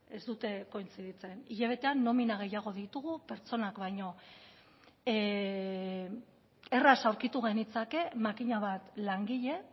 ez dute kointziditzen hilabetean nomina gehiago ditugu pertsonak baino erraz aurkitu genitzake makina bat langile